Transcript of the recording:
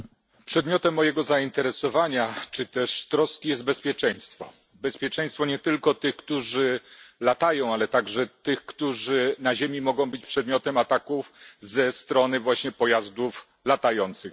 Panie Przewodniczący! Przedmiotem mojego zainteresowania czy też troski jest bezpieczeństwo. Bezpieczeństwo nie tylko tych, którzy latają, ale także tych, którzy na ziemi mogą być przedmiotem ataków ze strony właśnie pojazdów latających.